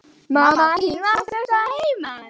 Mamma þín var flutt að heiman.